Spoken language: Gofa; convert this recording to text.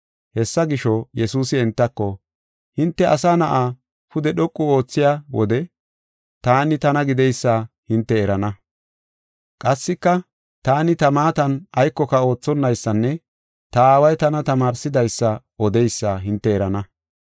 Hessa gisho, Yesuusi entako, “Hinte Asa Na7aa pude dhoqu oothiya wode Taani Tana Gideysa hinte erana. Qassika taani ta maatan aykoka oothonaysanne ta Aaway tana tamaarsidaysa odeysa hinte erana.